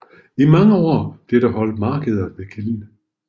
I mange år blev der holdt markeder ved kilden